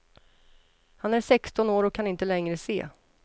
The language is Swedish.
Han är sexton år och kan inte längre se.